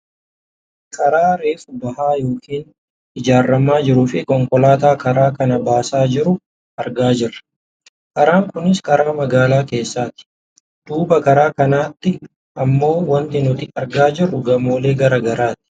Karaa reefu bahaa yookaan ijaaramaa jiruufi konkolaataa karaa kana baasaa jiru argaa jirra . Karaan kunis karaa magaalaa keessati. Duuba karaa kanaatti ammoo wanti nuti argaa jirru gamoolee gara garaati.